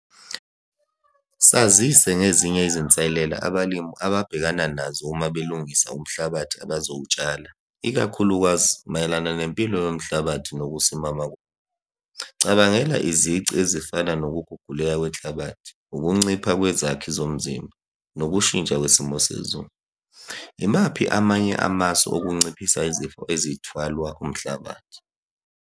Sazise ngezinye izinselela abalimi ababhekana nazo uma belungisa umhlabathi abazowutshala, ikakhulukazi mayelana nempilo yomhlabathi nokusimama . Cabangela izici ezifana nokuguguleka kwenhlabathi, ukuncipha kwezakhi zomzimba, nokushintsha kwesimo sezulu. Imaphi amanye amasu okunciphisa izifo ezithwalwa umhlabathi?